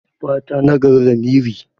Fata nagari lamiri.